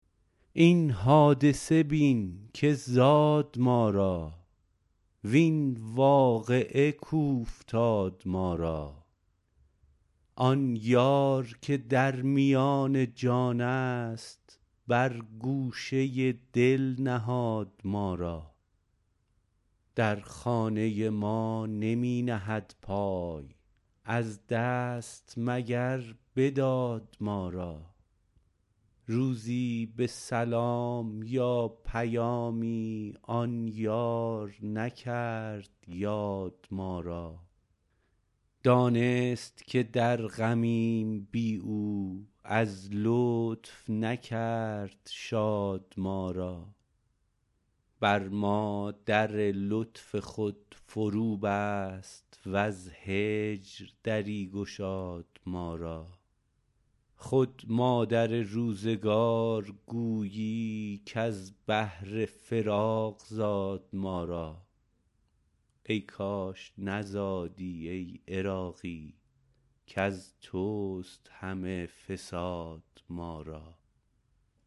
این حادثه بین که زاد ما را وین واقعه کاوفتاد ما را آن یار که در میان جان است بر گوشه دل نهاد ما را در خانه ما نمی نهد پای از دست مگر بداد ما را روزی به سلام یا پیامی آن یار نکرد یاد ما را دانست که در غمیم بی او از لطف نکرد شاد ما را بر ما در لطف خود فرو بست وز هجر دری گشاد ما را خود مادر روزگار گویی کز بهر فراق زاد ما را ای کاش نزادی ای عراقی کز توست همه فساد ما را